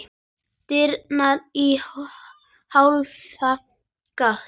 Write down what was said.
Dyrnar í hálfa gátt.